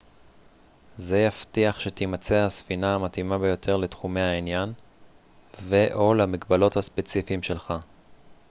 זה יבטיח שתימצא הספינה המתאימה ביותר לתחומי העניין ו/או למגבלות הספציפיים שלך